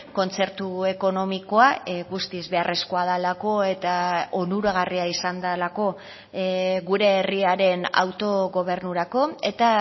kontzertu ekonomikoa guztiz beharrezkoa delako eta onuragarria izan delako gure herriaren autogobernurako eta